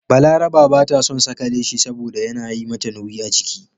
Balaraba ba ta son saka leshi saboda yana yi mata nauyi a jiki.